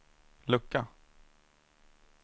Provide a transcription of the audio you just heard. lucka